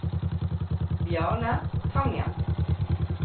Bjarne Tangen